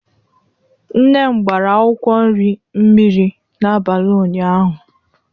Nne m gbara akwụkwọ nri mmiri n'abalị ụnyaahụ.